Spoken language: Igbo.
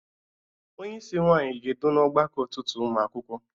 Onyeisi nwaanyị ga-edu n'ọgbakọ ụtụtụ ụmụ akwụkwọ